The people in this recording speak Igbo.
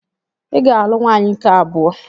Ị ga-alụ nwaanyị nke abụọ!